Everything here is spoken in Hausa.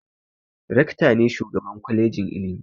Rekta ne shugaban kwalejin ilimi